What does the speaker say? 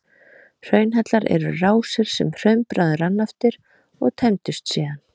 hraunhellar eru rásir sem hraunbráðin rann eftir og tæmdust síðan